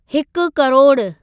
हिकु किरोड़ु